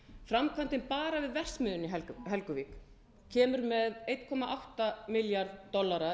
framkvæmdin bara við verksmiðjuna í helguvík kemur með einum komma átta milljarð dollara